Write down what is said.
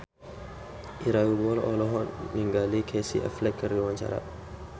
Ira Wibowo olohok ningali Casey Affleck keur diwawancara